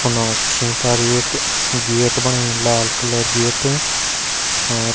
फुना छि पर एक गेट बणायु लाल कलर गेट अर --